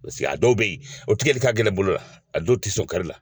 a dɔw bɛ yen o tigɛli ka gɛlɛn bolo la a dɔw tɛ sɔn kari la